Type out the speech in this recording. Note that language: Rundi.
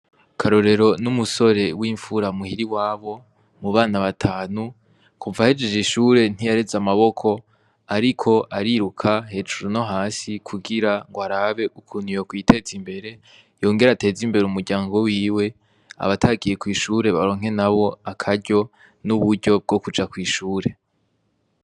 Karorero n'umusore w'imfura muhiri wabo mu bana batanu kuva ahejeje ishure ntiyareze amaboko, ariko ariruka hejuru no hasi kugira ngo arabe ukuniyo kwiteze imbere yongera ateze imbere umuryango wiwe abatakiye kw'ishure baronke na bo akaryo n'uburyo bwo kuja yakwishure.